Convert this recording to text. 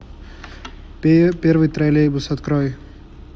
первый троллейбус открой